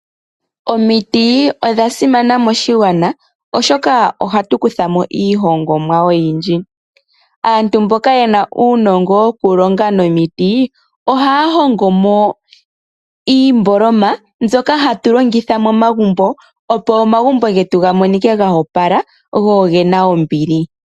Omiti odhasimana moshigwana oshoka ohatu kuthamo iihongomwa oyindji . Aantu mboka yena uunongo wokulonga nomiti ohaya hongomo iimboloma mbyoka hatu longitha momagumbo opo omagumbo getu ga monike ga opala go ogena ombili.